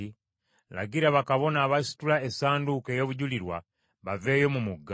“Lagira bakabona abasitula Essanduuko ey’Obujulirwa baveeyo mu mugga.”